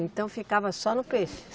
Então ficava só no peixe?